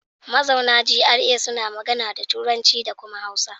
Mazauna GRA suna magana da Turanci da kuma Hausa.